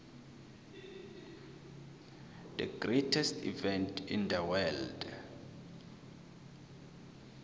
the greastets event in the world